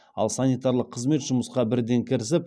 ал санитарлық қызмет жұмысқа бірден кірісіп